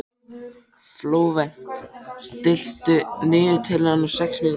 Flóvent, stilltu niðurteljara á sex mínútur.